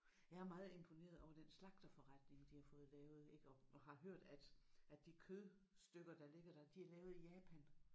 Jeg er meget imponeret over den slagterforretning de har fået lavet ik og og har hørt at at de kødstykker der ligger der de er lavet i Japan